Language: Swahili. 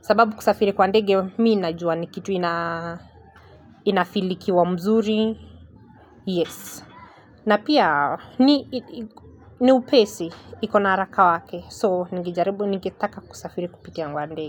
Sababu kusafiri kwa ndege, mi najua ni kitu inafeel ikiwa mzuri. Yes. Na pia ni upesi iko na haraka wake so ningejaribu ningetaka kusafiri kupitia kwa ndege.